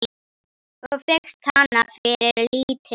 Og fékkst hana fyrir lítið!